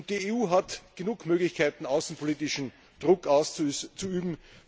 Die EU hat genug Möglichkeiten, außenpolitischen Druck auszuüben.